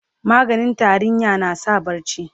maganin tarinya na sa barci